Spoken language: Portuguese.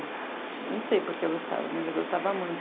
Não sei por que eu gostava, mas eu gostava muito.